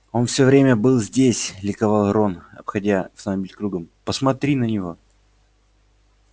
он всё время был здесь ликовал рон обходя автомобиль кругом посмотри на него